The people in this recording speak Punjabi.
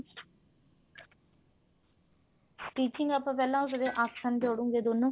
stitching ਪਹਿਲਾਂ ਆਪਾਂ ਉਸਦੇ ਆਸਣ ਜੋੜਾਂਗੇ ਦੋਨੂ